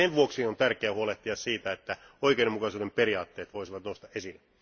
Sen vuoksi on tärkeää huolehtia siitä, että oikeudenmukaisuuden periaatteet voisivat nousta esille.